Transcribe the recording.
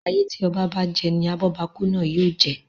Ayé tí oba bá je ni abóbakú náà yóò je.